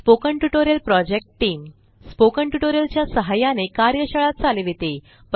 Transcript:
spoken tutorial project team spoken tutorial च्या सहाय्याने कार्यशाळा चालविते